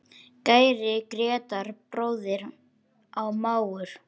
Kæri Grétar, bróðir og mágur.